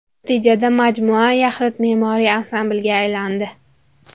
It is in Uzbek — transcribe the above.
Natijada majmua yaxlit me’moriy ansamblga aylandi.